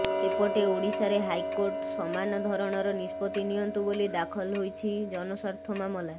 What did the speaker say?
ଏପଟେ ଓଡ଼ିଶାରେ ହାଇକୋର୍ଟ ସମାନଧରଣର ନିଷ୍ପତ୍ତି ନିଅନ୍ତୁ ବୋଲି ଦାଖଲ ହୋଇଛି ଜନସ୍ୱାର୍ଥ ମାମଲା